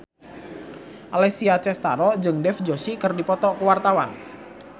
Alessia Cestaro jeung Dev Joshi keur dipoto ku wartawan